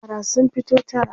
yara sun fito tara